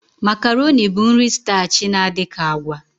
Makaroni bụ nri stachi na-adị ka agwa.